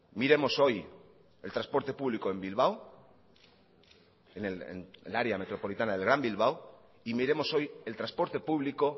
miremos hoy el transporte público en bilbao en el área metropolitana del gran bilbao y miremos hoy el transporte público